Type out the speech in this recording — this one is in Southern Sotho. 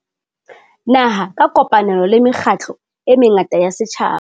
Naha ka kopanelo le mekgatlo e mengata ya setjhaba.